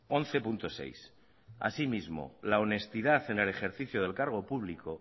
once punto seis así mismo la honestidad en el ejercicio del cargo público